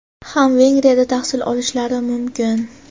ham Vengriyada tahsil olishlari mumkin.